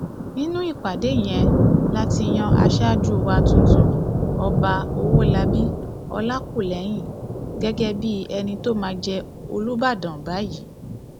nínú ìpàdé yẹn la ti yan aṣáájú wa tuntun ọba ọwọlabí ọlákúlẹhìn gẹgẹ bíi ẹni tó máa jẹ olùbàdàn báyìí